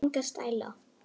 Enga stæla